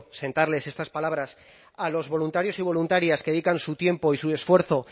sentarles estas palabras a los voluntarios y voluntarias que dedican su tiempo y su esfuerzo